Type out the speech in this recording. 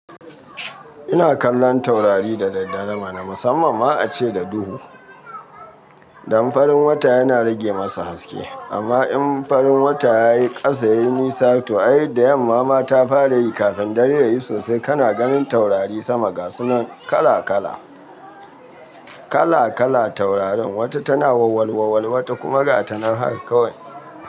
Ina kallon taurari da daddare ma na musamman ma ace da duhu, dan farin wata yana rage masa haske. Amma in farin wata ya yi kasa ya yi nisa to ay da yamma ma ta fara yi kafin dare yayi sosai kana ganin taurari sama gasunan kala kala. Kala kala taurarin wata tana wawawal wawawal wata kuma gatanan hak kawai.